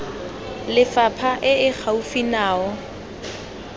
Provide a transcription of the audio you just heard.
lefapha e e gaufi nao